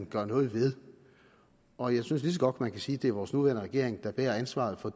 gøre noget ved og jeg synes lige så godt man kan sige at det er vores nuværende regering der bærer ansvaret for